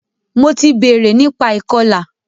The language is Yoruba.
Mo ti bèrè nípa ìkọlà.